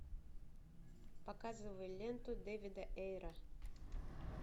показывай ленту дэвида эйра